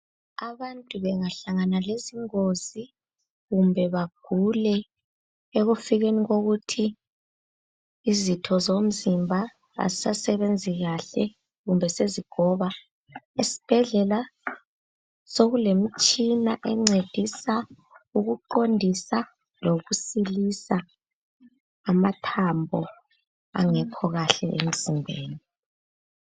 Abantu bengahlangana lezingozi kumbe bagule ekufikeni kokuthi izitho zomzimba azisasebenzi kahle kumbe sezigoba esibhedlela sokulemtshina encedisa ukuqondisa lokusilisa amathambo angekho kahle emzimbeni.